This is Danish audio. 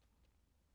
DR1